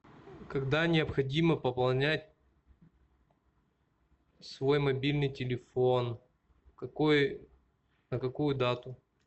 когда необходимо пополнять свой мобильный телефон на какую дату